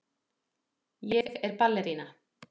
Ég er ballerína.